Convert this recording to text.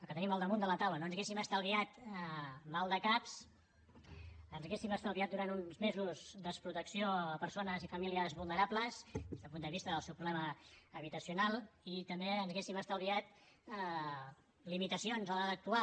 que tenim al damunt de la taula no ens hauríem estalviat maldecaps ens hauríem estalviat durant uns mesos desprotecció a persones i famílies vulnerables des del punt de vista del seu problema habitacional i també ens hauríem estalviat limitacions a l’hora d’actuar